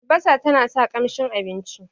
albasa tana sa kanshin abinci